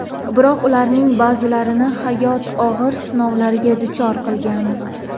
Biroq ularning ba’zilarini hayot og‘ir sinovlarga duchor qilgan.